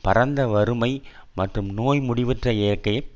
பரந்த வறுமை மற்றும் நோய் முடிவற்ற இயற்கை